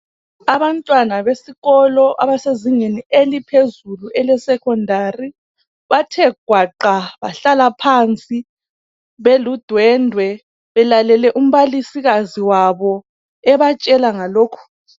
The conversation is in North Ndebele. Abantwana besikolo abasezingeni eliphezulu elesecondary bathe gwaqa bahlala phansi beludwendwe belalele umbalisikazi wabo ebatshela ngalokhu.